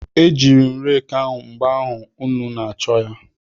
Ejiiri m reeki ahụ mgbe ụnụ na-achọ ya.